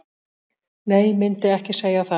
Nei myndi ekki segja það.